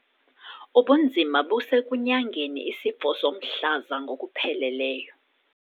Ubunzima busekunyangeni isifo somhlaza ngokupheleleyo.